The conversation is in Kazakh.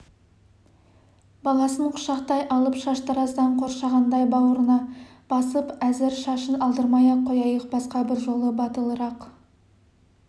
баласын құшақтай алып шаштараздан қоршағандай бауырына басып әзір шашын алдырмай-ақ қояйық басқа бір жолы батылырақ